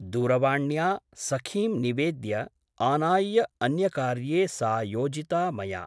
दूरवाण्या सखीं निवेद्य आनाय्य अन्यकार्ये सा योजिता मया ।